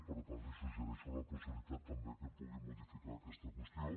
per tant li suggereixo la possibilitat també que pugui modificar aquesta qüestió